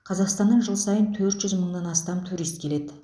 қазақстаннан жыл сайын төрт жүз мыңнан астам турист келеді